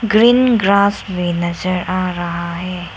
Green grass में नजर आ रहा है।